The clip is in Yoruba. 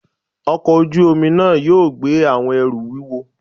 ọkọ ojú-omi náá yóò gbé awọn ẹru wúwọ